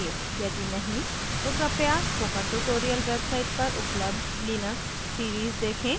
यदि नहीं तो कृपया स्पोकन ट्यूटोरियल वेबसाइट पर उपलब्ध लिनक्स सीरीज़ देखें